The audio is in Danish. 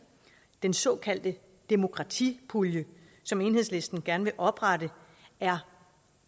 den såkaldte demokratipulje som enhedslisten gerne vil oprette er